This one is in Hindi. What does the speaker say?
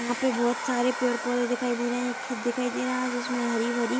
यहाँ पे बहोत सारे पेड़-पौधे दिखाई दे रहे हैं एक खेत दिखाई दे रहा है जिसमें हरी-भरी --